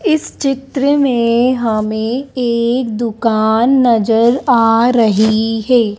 इस चित्र में हमें एक दुकान नजर आ रही है।